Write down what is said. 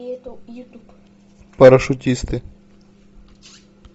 парашютисты